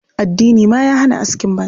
Addini ma ya hana askin banza.